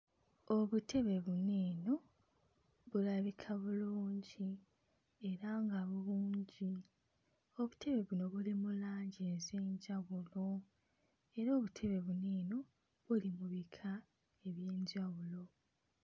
Obutebe buno eno bulabika bulungi era nga bulungi obutebe buno buli mu langi ez'enjawulo era obutebe buno eno buli mu bika eby'enjawulo.